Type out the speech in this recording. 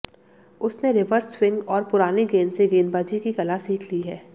उसने reverse swing और पुरानी गेंद से गेंदबाजी की कला सीख ली है